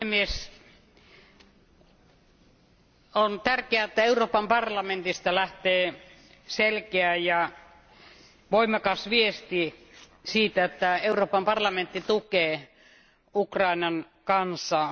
Arvoisa puhemies, on tärkeää, että Euroopan parlamentista lähtee selkeä ja voimakas viesti siitä, että Euroopan parlamentti tukee Ukrainan kansaa.